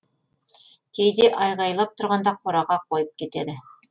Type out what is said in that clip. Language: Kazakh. кейде айқайлап тұрғанда қораға қойып кетеді